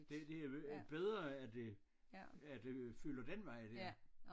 Det det er jo bedre at det at øen fylder den vej der